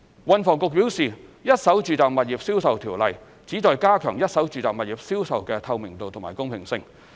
運房局表示，《一手住宅物業銷售條例》旨在加強一手住宅物業銷售的透明度及公平性。